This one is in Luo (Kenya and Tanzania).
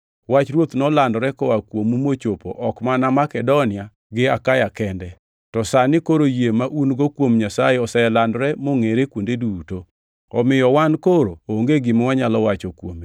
Wach Ruoth nolandore koa kuomu mochopo ok mana Makedonia gi Akaya kende: To sani koro yie ma un-go kuom Nyasaye oselandore mongʼere kuonde duto. Omiyo wan koro onge gima wanyalo wacho kuome,